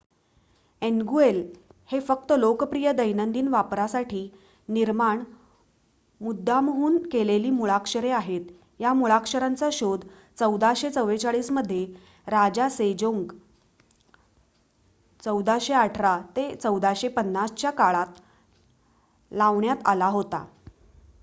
Hangul हेच फक्त लोकप्रिय दैनंदिन वापरासाठी निर्माण मुद्दामहून केलेली मुळाक्षरे आहेत. या मुळाक्षरांचा शोध 1444 मध्ये राजा सेजोंग 1418 – 1450 च्या काळात लावण्यात आला होता